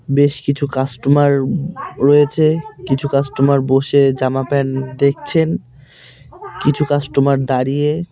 বেশ কিছু কাস্টমার রয়েছে কিছু কাস্টমার বসে জামা প্যান্ট দেখছেন কিছু কাস্টমার দাঁড়িয়ে।